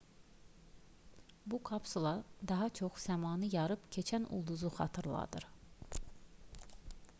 bu kapsula daha çox səmanı yarıb keçən ulduzu xatırladır